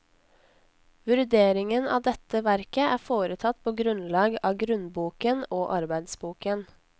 Vurderingen av dette verket er foretatt på grunnlag av grunnboken og arbeidsboken.